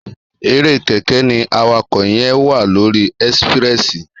Èré kẹrẹ ni àwàkọ yẹn wà lòrí ẹsipirẹsi